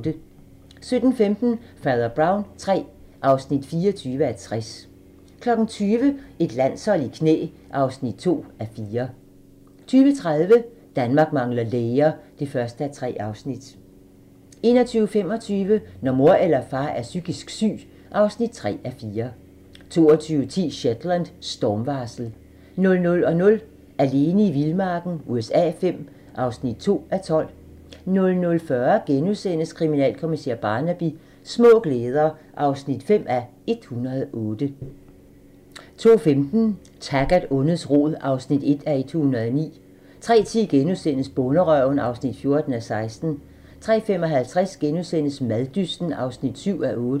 17:15: Fader Brown III (24:60) 20:00: Et landshold i knæ (2:4) 20:30: Danmark mangler læger (1:3) 21:25: Når mor eller far er psykisk syg (3:4) 22:10: Shetland: Stormvarsel 00:00: Alene i vildmarken USA V (2:12) 00:40: Kriminalkommissær Barnaby: Små glæder (5:108)* 02:15: Taggart: Ondets rod (1:109) 03:10: Bonderøven (14:16)* 03:55: Maddysten (7:8)*